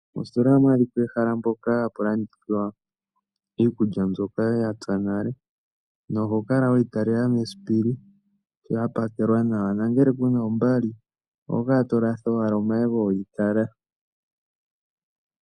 Mositola ohamu adhika ehala mpoka hapu landithwa iikulya mbyoka yapya nale na ohokala weyi talela mesiipili sho yapakelwa nawa, nangele kuna ombali oho kala tolatha owala omayego weyi tala.